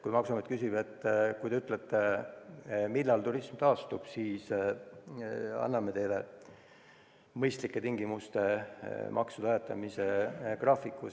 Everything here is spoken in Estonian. Maksuamet küsib, et öelge, millal turism taastub, siis anname teile mõistlike tingimustega maksude ajatamise graafiku.